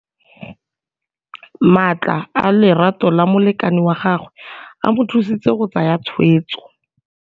Matla a lerato la molekane wa gagwe a mo thusitse go tsaya tshweetso.